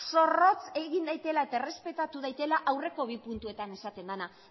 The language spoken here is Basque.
zorrotz egin daitela eta errespetatu daitela aurreko bi puntuetan esaten dena